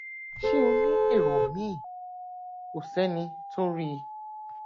ṣé o ní èrò míì kò sẹni tó rí i